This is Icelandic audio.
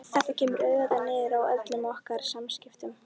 Þetta kemur auðvitað niður á öllum okkar samskiptum.